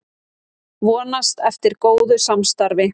Vonast eftir góðu samstarfi